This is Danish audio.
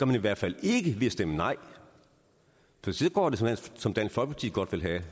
man i hvert fald ikke ved at stemme nej for så går det som dansk folkeparti godt vil have